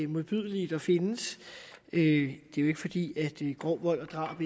modbydelige der findes det jo ikke fordi grov vold og drab